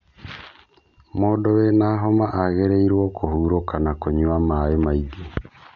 Mũndũ wĩna homa agĩrĩirwo kũhurũka na kũnyua maĩ maingī